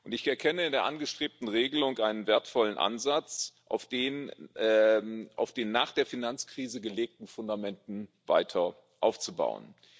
Ich erkenne in der angestrebten Regelung einen wertvollen Ansatz, auf den nach der Finanzkrise gelegten Fundamenten weiter aufzubauen.